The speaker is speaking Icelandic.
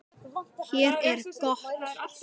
Hér er gott undir bú, grösugt og fallegt.